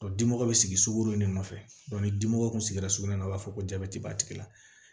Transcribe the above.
dimɔgɔ bɛ sigi sukɔro de nɔfɛ ni dimɔgɔ tun sigira sugunɛ na u b'a fɔ ko jabɛti b'a tigi la